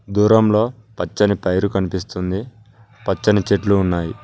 దూరం లో పచ్చని పైరు కనిపిస్తుంది పచ్చని చెట్లు ఉన్నాయి.